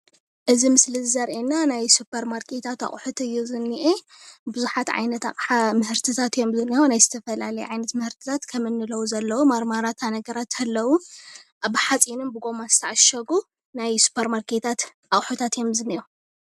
እዚ ምስሊ እዚ ዘርእየና ናይ ሱፐርማርኬታት ኣቑሑት እዩ ዝንኤ። ቡዙሓት ዓይነት ኣቕሓ ምህርትታት እዮም ዝንሄዉ ።ናይ ዝተፈላለየ ዓይነት ምህርትታት ከምኒ ለዉዝ ኣለዉ። ማርማላታ ነገራት ኣለዉ። ብሓፂንን ብጎማ ዝተዓሸጉ ናይ ሱፐርማርኬታት ኣቑሑታት እዮም ዝንኤዉ።